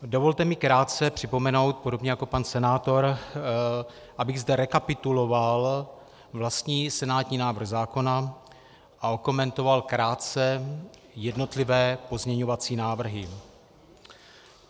Dovolte mi krátce připomenout, podobně jako pan senátor, abych zde rekapituloval vlastní senátní návrh zákona a okomentoval krátce jednotlivé pozměňovací návrhy.